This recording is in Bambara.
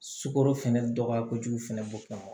Sukoro fɛnɛ dɔgɔya kojugu fɛnɛ b'o kɛnɛ kan